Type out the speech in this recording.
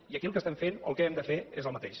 i aquí el que estem fent o el que hem de fer és el mateix